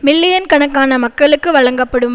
million கணக்கான மக்களுக்கு வழங்கப்படும்